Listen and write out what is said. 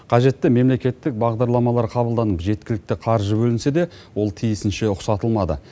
қажетті мемлекеттік бағдарламалар қабылданып жеткілікті қаржы бөлінсе де ол тиісінше ұқсатылмады